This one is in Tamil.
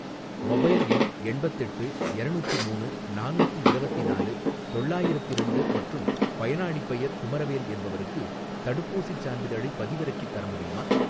மொபைல் எண் எண்பத்தெட்டு எரநூத்திமூணு நானூத்தி இரவத்தினாலு தொள்ளாயிரத்திரண்டு மற்றும் பயனாளிப் பெயர் குமரவேல் என்பவருக்கு தடுப்பூசிச் சான்றிதழைப் பதிவிறக்கித் தர முடியுமா?